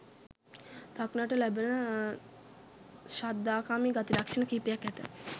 දක්නට ලැබෙන ශ්‍රද්ධාකාමී ගති ලක්‍ෂණ කිහිපයක් ඇත